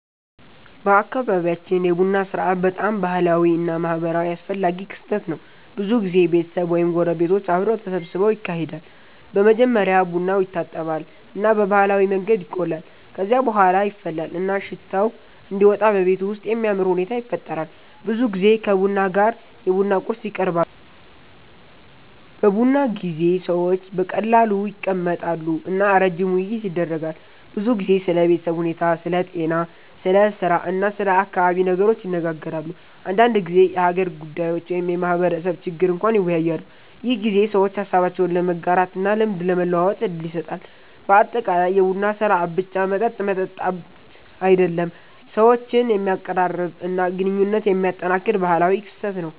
በአካባቢያችን የቡና ሥርዓት በጣም ባህላዊ እና ማህበራዊ አስፈላጊ ክስተት ነው። ብዙ ጊዜ ቤተሰብ ወይም ጎረቤቶች አብረው ተሰብስበው ይካሄዳል። በመጀመሪያ ቡናው ይታጠባል እና በባህላዊ መንገድ ይቆላል። ከዚያ በኋላ ይፈላል እና ሽታው እንዲወጣ በቤቱ ውስጥ የሚያምር ሁኔታ ይፈጠራል። ብዙ ጊዜ ከቡና ጋር የቡና ቁርስ ይቀርባሉ። በቡና ጊዜ ሰዎች በቀላሉ ይቀመጣሉ እና ረጅም ውይይት ይደረጋል። ብዙ ጊዜ ስለ ቤተሰብ ሁኔታ፣ ስለ ጤና፣ ስለ ስራ እና ስለ አካባቢ ነገሮች ይነጋገራሉ። አንዳንድ ጊዜ የሀገር ጉዳዮች ወይም የማህበረሰብ ችግር እንኳን ይወያያሉ። ይህ ጊዜ ሰዎች ሀሳባቸውን ለመጋራት እና ልምድ ለመለዋወጥ እድል ይሰጣል። በአጠቃላይ የቡና ሥርዓት ብቻ መጠጥ መጠጣት አይደለም፣ ሰዎችን የሚያቀራርብ እና ግንኙነት የሚያጠናክር ባህላዊ ክስተት ነው።